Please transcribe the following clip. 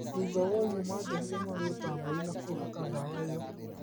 Thutha woguo manjohire magũrũ ta mbũrĩ na kũhaka ndawa ĩyo